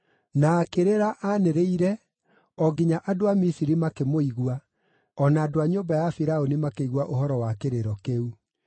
Na akĩrĩra anĩrĩire o nginya andũ a Misiri makĩmũigua, o na andũ a nyũmba ya Firaũni makĩigua ũhoro wa kĩrĩro kĩu.